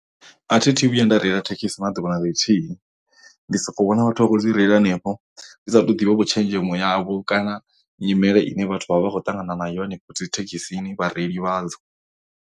A thi thu vhuya nda reila thekhisi na ḓuvha na ḽithihi ndi soko vhona vhathu vha khou dzi reila hanefho ndi sa tou ḓivhavho tshenzhemo yavho kana nyimele ine vhathu vha vha vha khou ṱangana nayo henefho dzi thekhisini vhareili vhadzo.